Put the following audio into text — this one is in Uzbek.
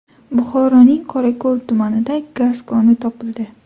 Buxoroning Qorako‘l tumanida gaz koni topildi.